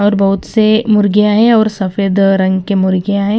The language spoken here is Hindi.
और बहुत से मुर्गियां हैं और सफेद रंग के मुर्गियां हैं ।